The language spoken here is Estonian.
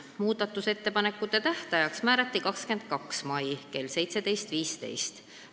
Muudatusettepanekute tähtajaks määrati 22. mai kell 17.15.